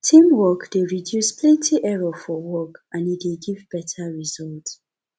teamwork de reduce plenty error for work and e de give better results